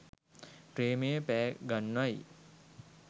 ප්‍රේමය පෑ ගන්වයි